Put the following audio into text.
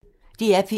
DR P1